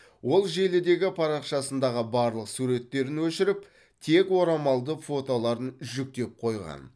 ол желідегі парақшасындағы барлық суреттерін өшіріп тек орамалды фотоларын жүктеп қойған